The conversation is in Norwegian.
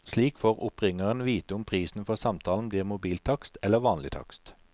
Slik får oppringeren vite om prisen for samtalen blir mobiltakst eller vanlig takst.